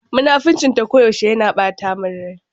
Munafurcin ta ko yaushe yana ɓata min rai.